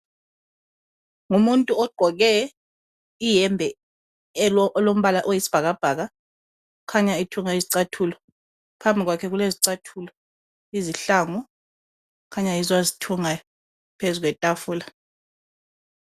Umuntu ogqoke iyembe elombala oyisibhakabhaka, ukhanya ethunga izicathulo. Phambi kwakhe kulezicathulo, izihlangu kukhanya yizo azithungayo phezukwetafula.